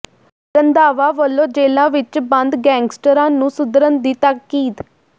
ਰੰਧਾਵਾ ਵੱਲੋਂ ਜੇਲ੍ਹਾਂ ਵਿੱਚ ਬੰਦ ਗੈਂਗਸਟਰਾਂ ਨੂੰ ਸੁਧਰਨ ਦੀ ਤਾਕੀਦ